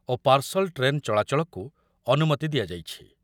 ଓ parcel train ଚଳାଚଳକୁ ଅନୁମତି ଦିଆଯାଇଛି ।